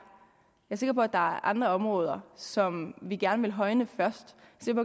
sikker på at der er andre områder som vi gerne vil højne først